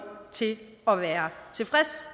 til at være tilfreds